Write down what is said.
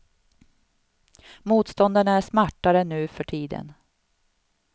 Motståndarna är smartare nu för i tiden.